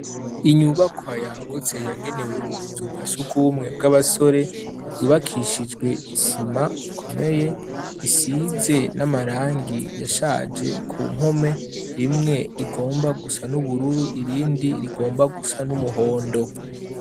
Inyubakwa ya guce yagenewe ubuzugashuku bumwe bw'abasore yubakishijwe isima ikomeye isize n'amarangi yashaje ku mpome rimwe rigomba gusa n'ubururu irindi rigomba gusa n'umuhondo.